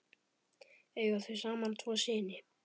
Eiga þau saman tvo syni.